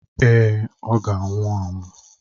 Èé, ọ ga-anwụ anwụ.